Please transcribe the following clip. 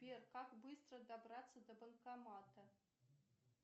сбер как быстро добраться до банкомата